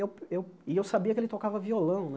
Eu eu e eu sabia que ele tocava violão né.